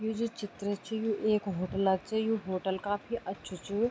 यु जू चित्र च यु एक होटला क च यु होटल काफी अच्छु च।